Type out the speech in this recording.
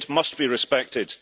it must be respected.